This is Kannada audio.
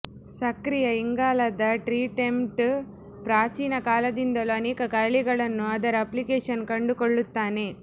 ಸಕ್ರಿಯ ಇಂಗಾಲದ ಟ್ರೀಟ್ಮೆಂಟ್ ಪ್ರಾಚೀನ ಕಾಲದಿಂದಲೂ ಅನೇಕ ಕಾಯಿಲೆಗಳನ್ನು ಅದರ ಅಪ್ಲಿಕೇಶನ್ ಕಂಡುಕೊಳ್ಳುತ್ತಾನೆ